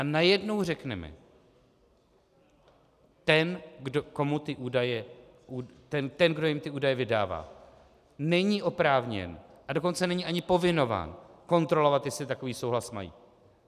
A najednou řekneme, ten, kdo jim ty údaje vydává, není oprávněn, a dokonce není ani povinován kontrolovat, jestli takový souhlas mají.